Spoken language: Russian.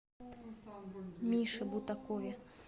мише бутакове